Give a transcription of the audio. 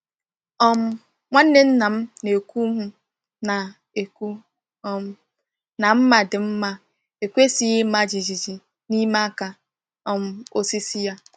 um Nwanne nna m na-ekwu m na-ekwu um na mma di mma ekwesịghị ịma jijiji n’ime aka um osisi ya.”